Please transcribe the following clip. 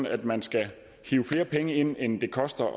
at man skal hive flere penge ind end det koster